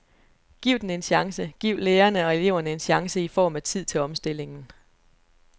Giv den en chance, giv lærerne og eleverne en chance i form af tid til omstillingen.